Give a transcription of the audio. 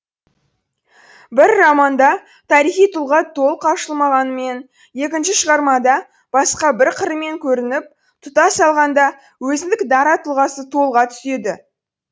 бір романда тарихи тұлға толық ашылмағанымен екінші шығармада басқа бір қырымен көрініп тұтас алғанда өзіндік дара тұлғасы толыға түседі